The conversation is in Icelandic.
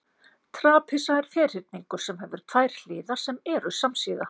trapisa er ferhyrningur sem hefur tvær hliðar sem eru samsíða